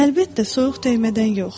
Əlbəttə, soyuq dəymədən yox.